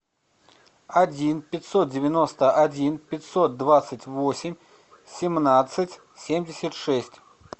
один пятьсот девяносто один пятьсот двадцать восемь семнадцать семьдесят шесть